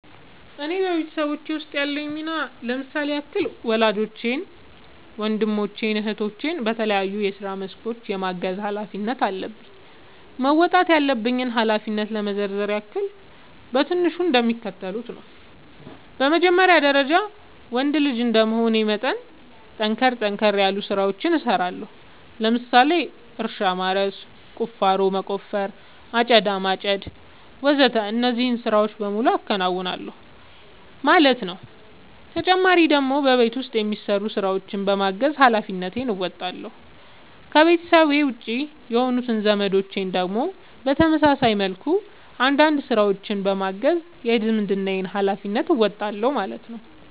እኔ በቤተሰቦቼ ውስጥ ያለኝ ሚና ለምሳሌ ያክል ወላጆቼን ወንድሞቼን እህቶቼን በተለያዩ የስራ መስኮች የማገዝ ኃላፊነት አለብኝ። መወጣት ያለብኝን ኃላፊነት ለመዘርዘር ያክል በትንሹ እንደሚከተለው ነው በመጀመሪያ ደረጃ ወንድ ልጅ እንደመሆኔ መጠን ጠንከር ጠንከር ያሉ ስራዎችን እሰራለሁ ለምሳሌ እርሻ ማረስ፣ ቁፋሮ መቆፈር፣ አጨዳ ማጨድ ወዘተ እነዚህን ስራዎች በሙሉ አከናውናል ማለት ነው ተጨማሪ ደግሞ በቤት ውስጥ የሚሰሩ ስራዎችን በማገዝ ሃላፊነትን እንወጣለሁ። ከቤተሰቤ ውጪ የሆኑት ዘመዶቼን ደግሞ በተመሳሳይ መልኩ አንዳንድ ስራዎችን በማገዝ የዝምድናዬን ሀላፊነት እወጣለሁ ማለት ነው